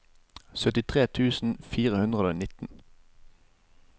syttitre tusen fire hundre og nitten